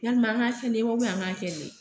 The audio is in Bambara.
Yalima an ga kɛ nin wa ubiyɛn an k'a kɛ nin ye